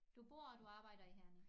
Du bor og du arbejder i Herning